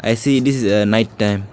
I see this is a night time.